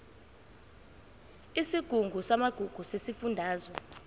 isigungu samagugu sesifundazwe